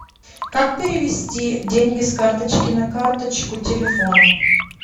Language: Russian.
как перевести деньги с карточки на карточку телефона